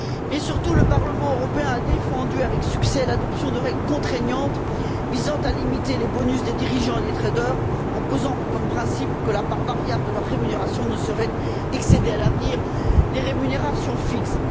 Mais, surtout, le Parlement européen a défendu, avec succès, l'adoption de règles contraignantes visant à limiter les bonus des dirigeants et des traders, en posant comme principe que la part variable de leur rémunération ne saurait excéder, à l'avenir, les rémunérations fixes.